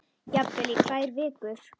Jafnvel í tvær vikur.